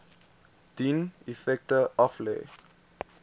dien effekte aflê